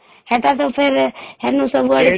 ହେଟା ତ ଫେର ହେନୁ ସବୁଆଡେ